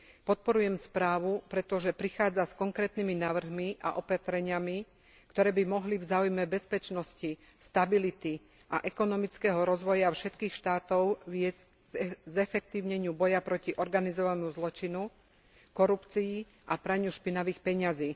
Podporujem správu, pretože prichádza s konkrétnymi návrhmi a opatreniami, ktoré by mohli v záujme bezpečnosti, stability a ekonomického rozvoja všetkých štátov viesť k zefektívneniu boja proti organizovanému zločinu, korupcii a praniu špinavých peňazí.